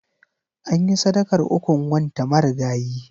Anyi sadakar ukun wanta marigayi.